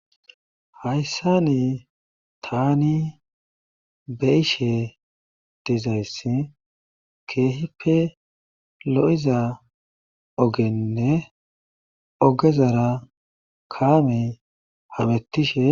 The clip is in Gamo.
Hayssa ni tani beishe dezayss keehippe lo7iza ogenne ogezara kaame habettishe